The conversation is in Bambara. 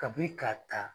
Kabini ka ta